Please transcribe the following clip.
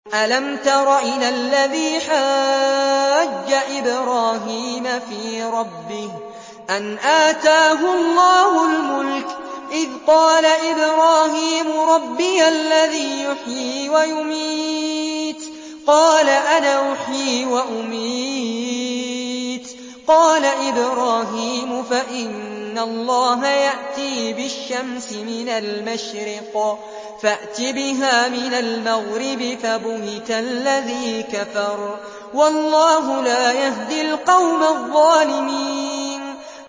أَلَمْ تَرَ إِلَى الَّذِي حَاجَّ إِبْرَاهِيمَ فِي رَبِّهِ أَنْ آتَاهُ اللَّهُ الْمُلْكَ إِذْ قَالَ إِبْرَاهِيمُ رَبِّيَ الَّذِي يُحْيِي وَيُمِيتُ قَالَ أَنَا أُحْيِي وَأُمِيتُ ۖ قَالَ إِبْرَاهِيمُ فَإِنَّ اللَّهَ يَأْتِي بِالشَّمْسِ مِنَ الْمَشْرِقِ فَأْتِ بِهَا مِنَ الْمَغْرِبِ فَبُهِتَ الَّذِي كَفَرَ ۗ وَاللَّهُ لَا يَهْدِي الْقَوْمَ الظَّالِمِينَ